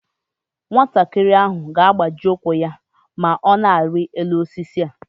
Nwatakịrị ahụ ga-agbaji ụkwụ ya ma ọ na-arị elu osisi a